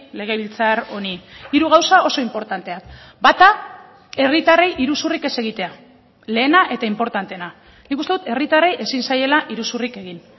legebiltzar honi hiru gauza oso inportanteak bata herritarrei iruzurrik ez egitea lehena eta inportanteena nik uste dut herritarrei ezin zaiela iruzurrik egin